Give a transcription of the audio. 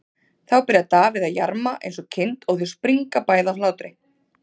Þá byrjar Davíð að jarma eins og kind og þau springa bæði af hlátri.